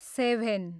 seven